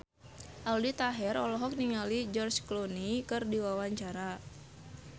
Aldi Taher olohok ningali George Clooney keur diwawancara